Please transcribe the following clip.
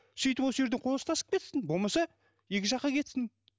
сөйтіп осы жерде қол ұстасып кетсін болмаса екі жаққа кетсін